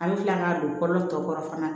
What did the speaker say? An bɛ tila ka don kɔlɔ fana